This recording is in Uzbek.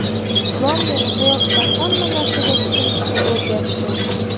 Islom meni hayotda hamma narsaga tushunishga o‘rgatdi.